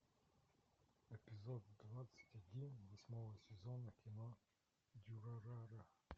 эпизод двадцать один восьмого сезона кино дюрарара